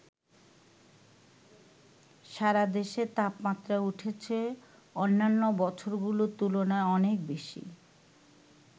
সারা দেশে তাপমাত্রা উঠেছে অন্যান্য বছরগুলোর তুলনায় অনেক বেশি।